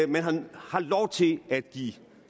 man har lov til at give